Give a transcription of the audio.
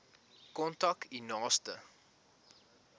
kontak u naaste